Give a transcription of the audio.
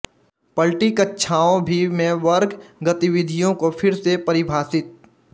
पलटी कक्षाओं भी में वर्ग गतिविधियों को फिर से परिभाषित